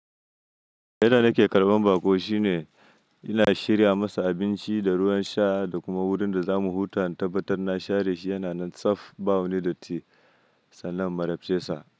Yanda nake karɓan baƙo shine ina shirya masa abinci da ruwan sha da kuma wurin da zamu huta in tabbatar na share shi yana nan tsaf, ɓawo ne da ti, sannan marabta sa.